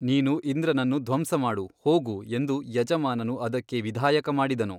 ನೀನು ಇಂದ್ರನನ್ನು ಧ್ವಂಸಮಾಡು ಹೋಗು ಎಂದು ಯಜಮಾನನು ಅದಕ್ಕೆ ವಿಧಾಯಕ ಮಾಡಿದನು.